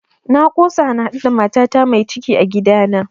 Na kosa na haɗu da matata mai ciki a gida